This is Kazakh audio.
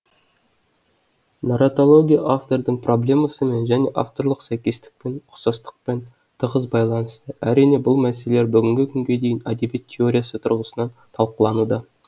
нарратология автордың проблемасымен және авторлық сәйкестікпен ұқсастықпен тығыз байланысты әрине бұл мәселелер бүгінгі күнге дейін әдебиет теориясы тұрғысынан талқылануда